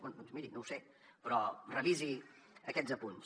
bé doncs miri no ho sé però revisi aquests apunts